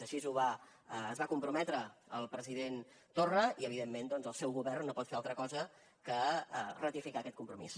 així s’hi va comprometre el president torra i evidentment doncs el seu govern no pot fer altra cosa que ratificar aquest compromís